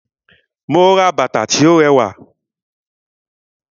Mú bàtà tí o ràwá.